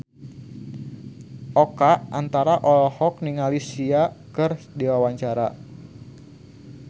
Oka Antara olohok ningali Sia keur diwawancara